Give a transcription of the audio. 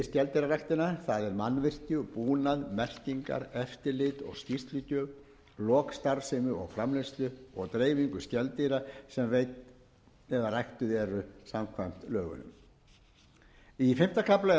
það er mannvirki búnað merkingar eftirlit og skýrslugjöf lok starfsemi og framleiðslu og dreifingu skeldýra sem veidd eða ræktuð eru samkvæmt lögunum í fimmta kafla eru ákvæði